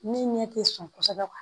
Min ɲɛ tɛ sɔn kosɛbɛ kuwa